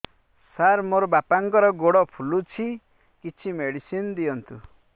ସାର ମୋର ବାପାଙ୍କର ଗୋଡ ଫୁଲୁଛି କିଛି ମେଡିସିନ ଦିଅନ୍ତୁ